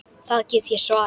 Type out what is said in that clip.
Það get ég svarið.